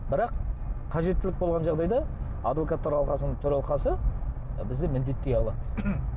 бірақ қажеттілік болған жағдайда адвокаттар алқасының төралқасы бізді міндеттей алады